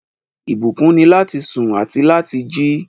Ìbùkún ni lati sùn àti lati jì